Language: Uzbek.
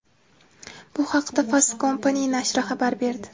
Bu haqda Fast Company nashri xabar berdi .